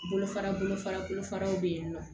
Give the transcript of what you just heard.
Bolo fara bolofara bolofaraw bɛ yen nɔ